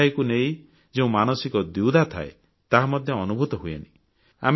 ସଫେଇକୁ ନେଇ ଯେଉଁ ମାନସିକ ଦ୍ୱିଧା ଥାଏ ତାହା ମଧ୍ୟ ଅନୁଭୂତ ହୁଏନାହିଁ